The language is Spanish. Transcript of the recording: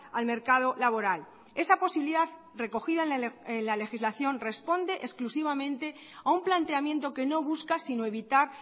al mercado laboral esa posibilidad recogida en la legislación responde exclusivamente a un planteamiento que no busca sino evitar